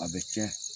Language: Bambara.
A bɛ cɛn